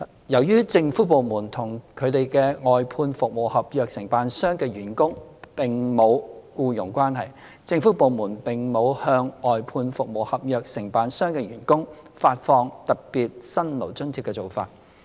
由於政府部門與其外判服務合約承辦商的員工並無僱傭關係，政府部門並無向外判服務合約承辦商的員工發放特別辛勞津貼的做法。